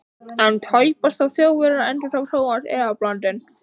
En tæpast þó Þjóðverjar? endurtók Thomas efablandinn.